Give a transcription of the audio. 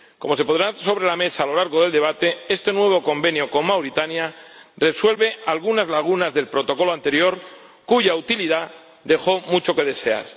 Como se pondrá sobre la mesa a lo largo del debate, este nuevo convenio con Mauritania resuelve algunas lagunas del Protocolo anterior, cuya utilidad dejó mucho que desear.